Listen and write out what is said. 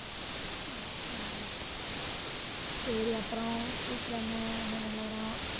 சரி அப்புறம் வீட்டுல என்ன என்ன நிலவரம்